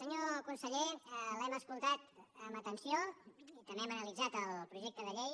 senyor conseller l’hem escoltat amb atenció i també hem analitzat el projecte de llei